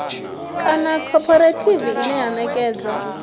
kana khophorethivi ine ya ṋekedza